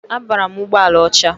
Abara m ụgbọala ọcha.